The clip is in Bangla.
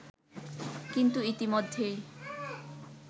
কিন্তু ইতিমধ্যেই